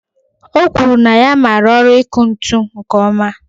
O kwuru na ya mara ọrụ iku ntụ nke oma